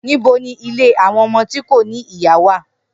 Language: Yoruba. Nibo ni ile awọn ọmọ ti ko ni iya wa?